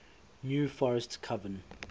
new forest coven